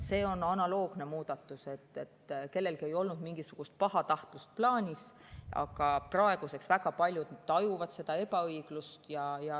See on analoogne muudatus, kellelgi ei olnud mingisugust pahatahtlust plaanis, aga praegu väga paljud tajuvad seda ebaõiglusena.